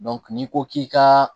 n'i ko k'i ka